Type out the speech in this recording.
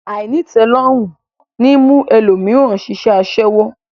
Àìnítẹ̀ẹ́lọ́rùn ní mú ẹlòmíràn ṣiṣẹ́ aṣẹ́wó